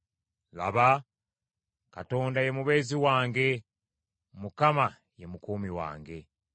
Laba, Katonda ye mubeezi wange, Mukama ye mukuumi wange.